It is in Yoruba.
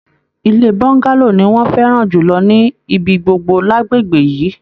Ilé bọ́ngálò ní wọn fẹràn jùlọ ní ibigbogbo l'agbègbè yìí.